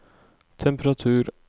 temperatur